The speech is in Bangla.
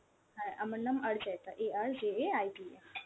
হ্যাঁ, আমার নাম Arjaita, A R J A I T A ।